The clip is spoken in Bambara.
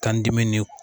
Kan dimi ni